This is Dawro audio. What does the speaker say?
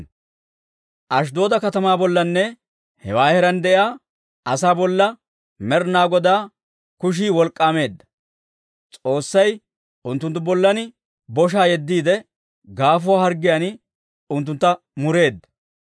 Ashddooda katamaa bollanne hewaa heeraan de'iyaa asaa bolla Med'inaa Godaa kushii wolk'k'aameedda; S'oossay unttunttu bollan boshaa yeddiide, gaafuwaa harggiyaan unttuntta mureedda.